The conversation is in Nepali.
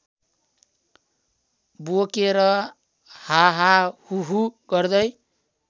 बोकेर हाहाहुहु गर्दै